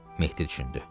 Mehdi düşündü.